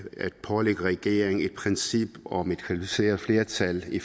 at pålægge regeringen et princip om et kvalificeret flertal i